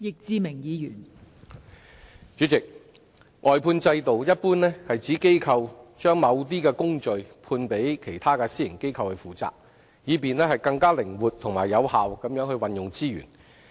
代理主席，外判制度一般指機構將某些工序判予其他私營機構負責，以便更靈活及有效地運用資源。